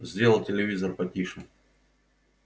сделал телевизор потише